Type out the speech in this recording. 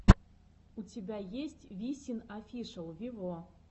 у тебя есть висин офишел вево